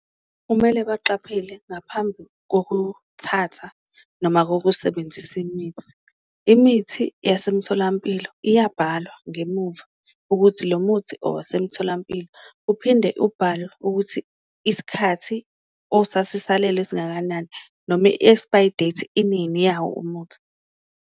Kumele baqaphele ngaphambi kokuthatha noma kokusebenzisa imithi, imithi yasemtholampilo iyabhalwa ngemuva ukuthi lo muthi owasemtholampilo. Uphinde ubhale ukuthi isikhathi osasisalele singakanani noma i-expire date inini yawo umuthi.